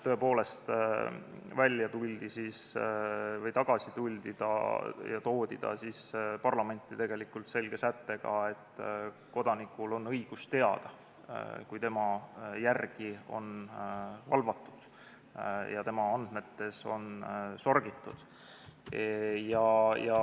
Tõepoolest, tagasi toodi eelnõu parlamenti selge sättega, et kodanikul on õigus teada, kui tema järele on valvatud ja tema andmetes on sorgitud.